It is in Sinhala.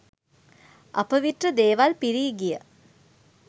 අපවිත්‍ර දේවල් පිරී ගිය